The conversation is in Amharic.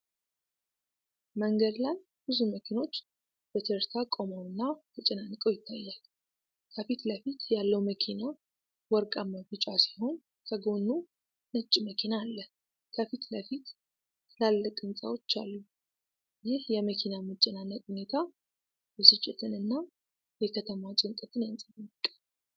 መንገድ ላይ ብዙ መኪኖች ተርታ ቆመውና ተጨናንቀው ይታያል። ከፊት ለፊት ያለው መኪና ወርቃማ ቢጫ ሲሆን፤ ከጎኑ ነጭ መኪና አለ። ከፊት ለፊት ትላልቅ ሕንፃዎች አሉ። ይህ የመኪና መጨናነቅ ሁኔታ ብስጭትን እና የከተማ ጭንቀትን ያንጸባርቃል።